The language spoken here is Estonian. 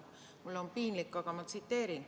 Mul on piinlik, aga ma tsiteerin.